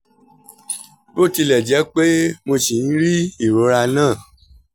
bó tilẹ̀ jẹ́ pé mo ṣì ń rí ìrora náà